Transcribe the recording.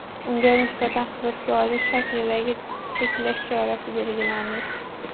Unga nisbatan hibsga olish shaklidagi cheklash chorasi belgilandi.